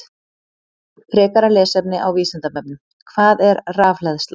Frekara lesefni á Vísindavefnum: Hvað er rafhleðsla?